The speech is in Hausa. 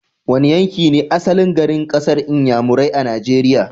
Wane yanki ne asalin garin kasar Inyamurai a Nigeria?